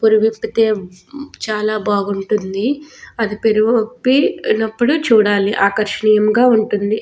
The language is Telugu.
పురివిపుతే చాలా బాగుంటుంది అది పిరువిప్పినప్పుడు చూడాలి ఆకర్షనీయంగా ఉంటుంది.